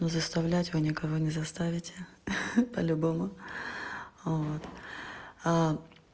но заставлять вы не кого не заставите по-любому вот а